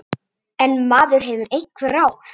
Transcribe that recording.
En maður hefur einhver ráð.